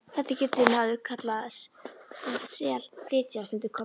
Þetta getur maður kallað að SELflytja, stundi Kobbi.